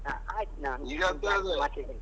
ಹಾ ಆಯ್ತು ಇದ್ದೇನೆ.